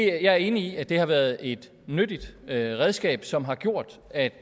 er enig i at det har været et nyttigt redskab som har gjort at